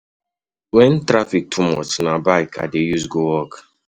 Wen traffic too much, na bike I dey use go work.